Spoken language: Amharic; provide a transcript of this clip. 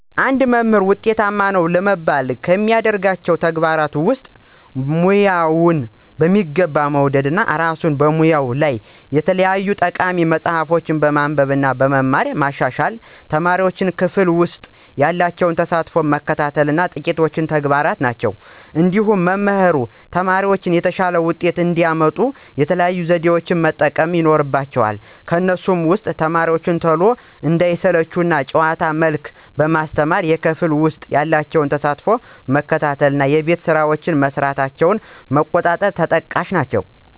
አንድ መምህር ውጤታማ ነው ለመባል ከሚያደርጋቸው ተግባራት ውስጥ፦ ሙያውን በሚገባ መውደድ፣ እራሱን በሙያው ያሉ የተለያዩ ጠቃሚ መፅሀፎችን በማንበብ እና በመማር ማሻሻል፣ ተማሪዎቹን ክፍል ውሰጥ ያላቸውን ተሳትፎ መከታተል ጥቂቶቹ ተግባራት ናቸው። እንዲሁም መምህራን ተማሪዎቻቸው የተሻለ ውጤት እንዲያመጡ የተለያዩ ዘዴዎችን መጠቀም ይኖርባቸዋል ከነሱም ውስጥ፦ ተማሪዎቹ ቶሎ እንዳይሰለቹ በጨዋታ መልክ ማስተማር፣ የክፍል ውስጥ ያላቸውን ተሳትፎ መከታተል እና የቤት ስራቸውን መስራታቸውን መቆጣጠር ተጠቃሽ ናቸው።